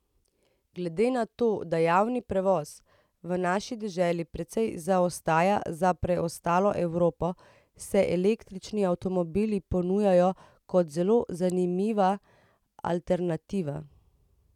Glede na to, da javni prevoz v naši deželi precej zaostaja za preostalo Evropo, se električni avtomobili ponujajo kot zelo zanimiva alternativa.